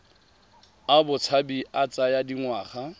a botshabi a tsaya dingwaga